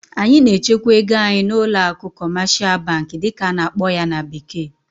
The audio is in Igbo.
anyị na-echekwa ego anyị n'ụlọ akụ "commercial bank" dịka a na-akpọ ya na bekee